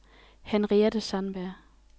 Henriette Sandberg